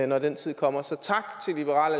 når den tid kommer så tak til liberal